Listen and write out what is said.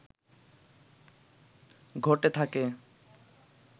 ঘটে থাকে